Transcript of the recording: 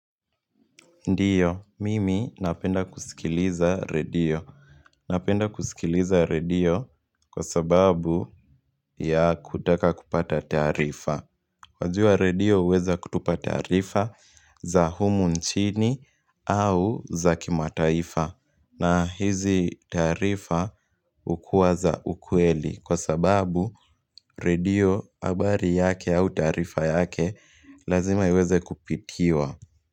Ndiyo, mimi napenda kusikiliza redio. Napenda kusikiliza redio kwa sababu ya kutaka kupata tarifa. Wajua redio uweza kutupa taarifa za humu nchini au za kimataifa. Na hizi taarifa ukuwaza ukweli kwa sababu redio abari yake au taarifa yake lazima iweze kupitiwa.